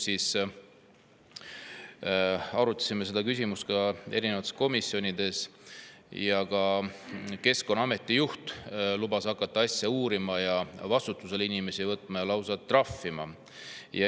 Arutasime seda küsimust ka erinevates komisjonides ning Keskkonnaameti juht lubas hakata asja uurima ning inimesi vastutusele võtma ja lausa trahvima.